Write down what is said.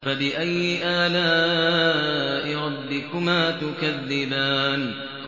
فَبِأَيِّ آلَاءِ رَبِّكُمَا تُكَذِّبَانِ